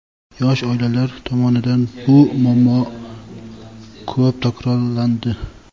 yosh oilalar tomonidan bu muammo ko‘p takrorlandi.